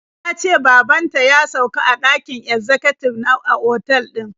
Ta ce baban ta ya sauka a ɗakin ezzakatib a otal din.